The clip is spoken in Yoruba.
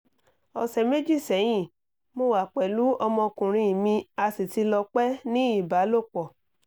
ọsẹ meji sẹyin mo wà pẹlu ọmọkùnrin mi a sì ti lọ pẹ́ ní ìbálòpọ̀